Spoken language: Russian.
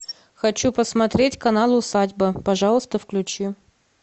хочу посмотреть канал усадьба пожалуйста включи